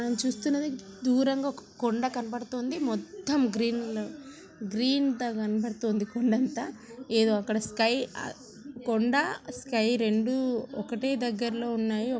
మనం చూస్తున్నది దూరంగా ఒక కొండ కనబడుతోంది మొత్తం గ్రీన్ గ్రీన్ తో కనబడుతోంది కొండంతా ఏదో అక్కడ స్కై ఆ కొండ స్కై రెండూ ఒకటే దగ్గర్లో ఉన్నాయి.